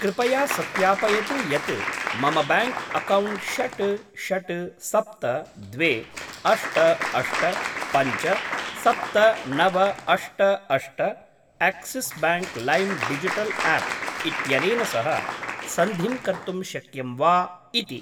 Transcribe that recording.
कृपया सत्यापयतु यत् मम ब्याङ्क् अक्कौण्ट् षड् षड् सप्त द्वे अष्ट अष्ट पञ्च सप्त नव अष्ट अष्ट Axis bank lime digital app इत्यनेन सह सन्धिं कर्तुं शक्यं वा इति।